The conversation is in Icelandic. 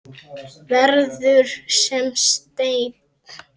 Verður sem steinn.